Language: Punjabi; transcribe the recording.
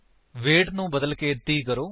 ਵੇਟ ਨੂੰ ਬਦਲਕੇ 30 ਕਰੋ